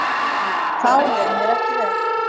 Þá leið mér ekki vel.